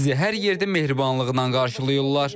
Bizi hər yerdə mehribanlıqla qarşılayırlar.